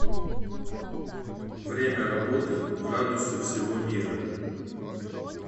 время работы градусы всего мира